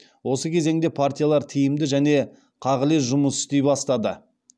осы кезеңде партиялар тиімді және қағылез жұмыс істей бастады